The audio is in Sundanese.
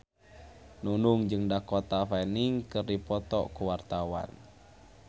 Nunung jeung Dakota Fanning keur dipoto ku wartawan